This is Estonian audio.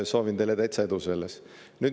Soovin teile selles täitsa edu.